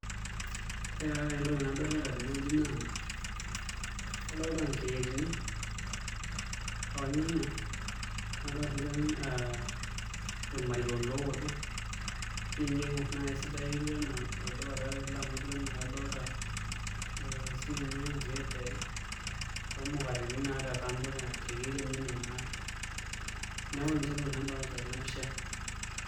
Ore taa entoki nadolita tenewueji naa adolta nkretini ornyanya nadolta siinche ee irmariko ooto naa enijo aing'orr naa kesidai etiu enaa olduka taate ele amu etiu enaa kadolta the ee sininye ekrate omukateni te kando tekedienye ino naa neeku ninche ntokitin nadolita naa Tena pisha.